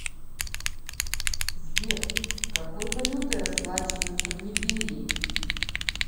сбер какой валютой расплачиваются в либерии